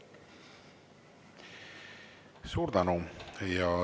Suur tänu!